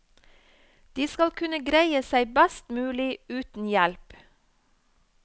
De skal kunne greie seg best mulig uten hjelp.